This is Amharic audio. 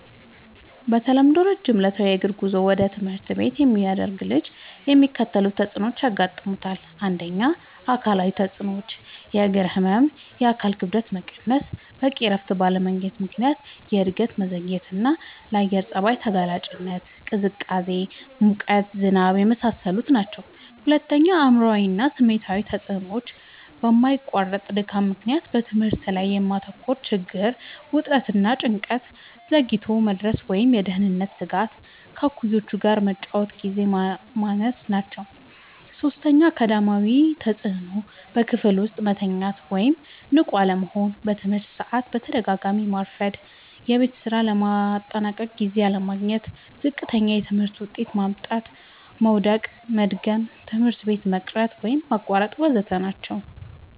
በተለምዶ ረጅም ዕለታዊ የእግር ጉዞ ወደ ትምህርት ቤት የሚያደርግ ልጅ የሚከተሉት ተጽዕኖዎች ያጋጥሙታል። ፩. አካላዊ ተጽዕኖዎች፦ · የእግር ህመም፣ የአካል ክብደት መቀነስ፣ በቂ እረፍት ባለማግኘት ምክንያት የእድገት መዘግየትና፣ ለአየር ጸባይ ተጋላጭነት (ቅዝቃዜ፣ ሙቀት፣ ዝናብ) የመሳሰሉት ናቸዉ። ፪. አእምሯዊ እና ስሜታዊ ተጽዕኖዎች፦ በማያቋርጥ ድካም ምክንያት በትምህርት ላይ የማተኮር ችግር፣ ውጥረት እና ጭንቀት፣ ዘግይቶ የመድረስ ወይም የደህንነት ስጋት፣ ከእኩዮች ጋር የመጫወቻ ግዜ ማነስ ናቸዉ። ፫. አካዳሚያዊ ተጽዕኖዎች፦ · በክፍል ውስጥ መተኛት ወይም ንቁ አለመሆን፣ በትምህርት ሰዓት በተደጋጋሚ ማርፈድ፣ የቤት ስራ ለማጠናቀቅ ጊዜ አለማግኘት፣ ዝቅተኛ የትምህርት ውጤት ማምጣት፣ መዉደቅና መድገም፣ ትምህርት ቤት መቅረት ወይም ማቋረጥ ወ.ዘ.ተ ናቸዉ።